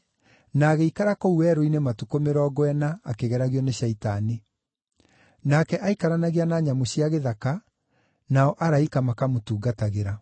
na agĩikara kũu werũ-inĩ matukũ mĩrongo ĩna, akĩgeragio nĩ Shaitani. Nake aikaranagia na nyamũ cia gĩthaka, nao araika makamũtungatagĩra.